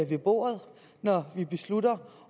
ved bordet når vi beslutter